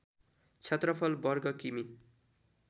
क्षेत्रफल वर्ग कि मि